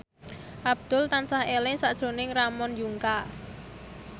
Abdul tansah eling sakjroning Ramon Yungka